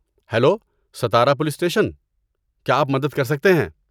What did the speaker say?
Hello, Satara police station, کیا آپ مدد کر سکتے ہیں؟